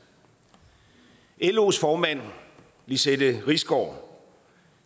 los formand lizette risgaard